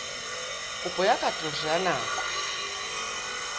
kopo ya katoloso ya nako